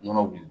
Nɔnɔ wuli